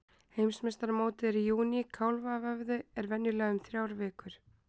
Heimsmeistaramótið er í júní, kálfavöðvi er venjulega um þrjár vikur.